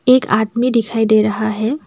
एक आदमी दिखाई दे रहा है।